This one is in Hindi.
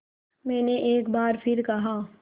मैंने एक बार फिर कहा